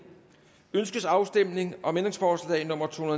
ønskes afstemning om ændringsforslag nummer to